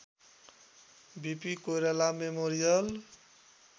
BP Koirala memorial